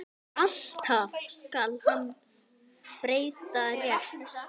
Alltaf skal hann breyta rétt.